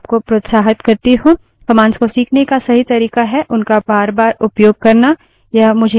commands को सीखने का सही तरीका है उनका बारबार उपयोग करना